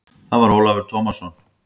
Það var Ólafur Tómasson.